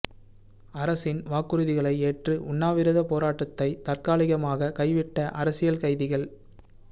அரசின் வாக்குறுதிகளை ஏற்று உண்ணாவிரதப் போராட்டத்தை தற்காலிகமாக கைவிட்ட அரசியல் கைதிகள்